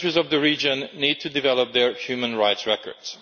on. The countries of the region need to develop their human rights records.